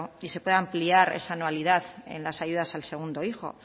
y se pueda ampliar esa anualidad en las ayudas al segundo hijo